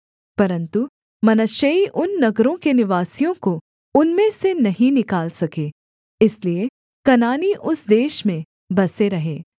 परन्तु मनश्शेई उन नगरों के निवासियों को उनमें से नहीं निकाल सके इसलिए कनानी उस देश में बसे रहे